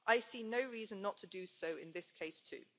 I see no reason not to do so in this case too.